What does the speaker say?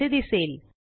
असे दिसेल